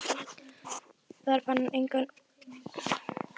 Þar fann hann engar útgöngudyr og dagar hans því taldir.